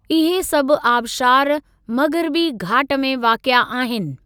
इहे सभु आबशारु मग़िरबी घाट में वाक़िए आहिनि।